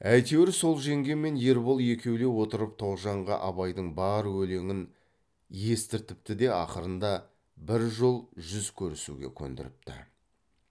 әйтеуір сол жеңге мен ербол екеулеп отырып тоғжанға абайдың бар өлеңін естіртіпті де ақырында бір жол жүз көрісуге көндіріпті